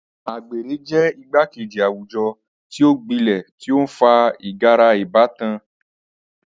Agbere jẹ igbakeji awujọ ti o gbilẹ ti o nfa igara ibatan.